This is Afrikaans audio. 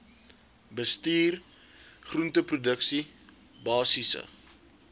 bestuur groenteproduksie basiese